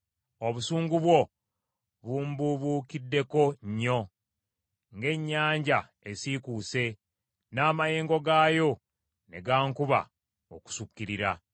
Obusungu bwo bumbuubuukiddeko nnyo, ng’ennyanja esiikuuse n’amayengo gaayo ne gankuba okusukkirira.